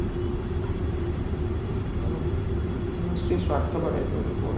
ମାନେ ମାନେ ସିଏ ସ୍ୱାର୍ଥପର type ର ଲୋକ ଗୁଡା